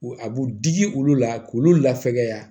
A b'u digi olu la k'olu lafaaya